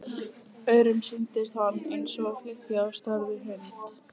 Öðrum sýndist hann eins og flykki á stærð við hund.